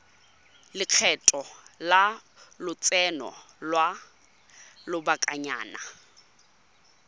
lekgetho la lotseno lwa lobakanyana